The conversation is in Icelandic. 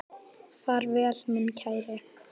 Far vel minn kæri.